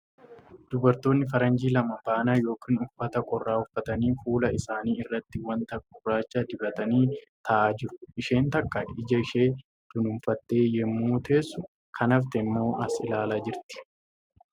Dubartoonni faranjii lama baanaa yookan uffata qorraa uffatanii fuula isaanii irratti wanta gurraacha dibatanii taa'aa jiru. Isheen takka ija ishee dunuunfatte yemmuu teessu kan hafte immoo as ilaalaa jirti .